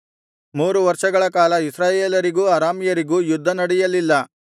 ಮೂರು ವರ್ಷಗಳ ಕಾಲ ಇಸ್ರಾಯೇಲರಿಗೂ ಅರಾಮ್ಯರಿಗೂ ಯುದ್ಧ ನಡೆಯಲಿಲ್ಲ